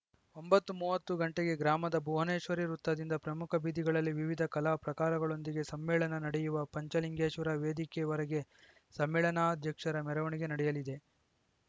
ಒಂಬತ್ತು ಮೂವತ್ತು ಗಂಟೆಗೆ ಗ್ರಾಮದ ಭುವನೇಶ್ವರಿ ವೃತ್ತದಿಂದ ಪ್ರಮುಖ ಬೀದಿಗಳಲ್ಲಿ ವಿವಿಧ ಕಲಾ ಪ್ರಾಕಾರಗಳೊಂದಿಗೆ ಸಮ್ಮೇಳನ ನಡೆಯುವ ಪಂಚಲಿಂಗೇಶ್ವರ ವೇದಿಕೆವರೆಗೆ ಸಮ್ಮೇಳನಾಧ್ಯಕ್ಷರ ಮೆರವಣಿಗೆ ನಡೆಯಲಿದೆ